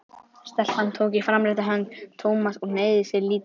Stelpan tók í framrétta hönd Thomas og hneigði sig lítillega.